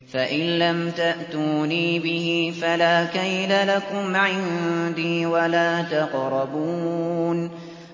فَإِن لَّمْ تَأْتُونِي بِهِ فَلَا كَيْلَ لَكُمْ عِندِي وَلَا تَقْرَبُونِ